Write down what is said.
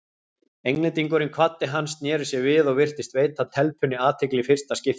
Englendingurinn kvaddi hann, sneri sér við og virtist veita telpunni athygli í fyrsta skipti.